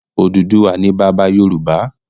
Odùduwà ni bàbá Yorùbá